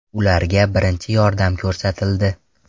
Ularga birinchi yordam ko‘rsatildi.